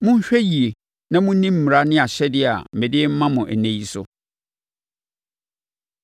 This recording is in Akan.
monhwɛ yie na monni mmara ne ahyɛdeɛ a mede rema mo ɛnnɛ yi so.